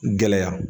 Gɛlɛya